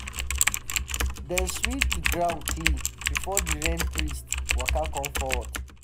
dem sweep the ground um clean before the rain priest um waka come forward.